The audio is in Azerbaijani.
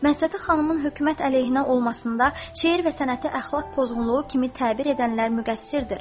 Məhsəti xanımın hökumət əleyhinə olmasında şeiri və sənəti əxlaq pozğunluğu kimi təbir edənlər müqəssirdir.